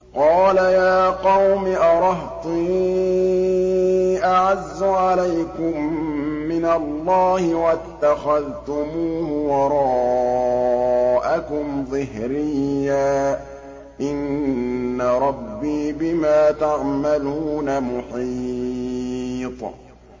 قَالَ يَا قَوْمِ أَرَهْطِي أَعَزُّ عَلَيْكُم مِّنَ اللَّهِ وَاتَّخَذْتُمُوهُ وَرَاءَكُمْ ظِهْرِيًّا ۖ إِنَّ رَبِّي بِمَا تَعْمَلُونَ مُحِيطٌ